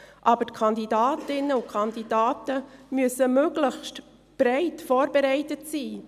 Aber die Kandidatinnen und Kandidaten müssen möglichst breit vorbereitet sein.